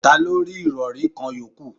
Ta ló rí irori kan yòókù?